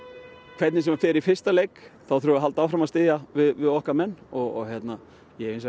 hvernig sem fer í fyrsta leik þá þurfum við að halda áfram að styðja við okkar menn og ég hef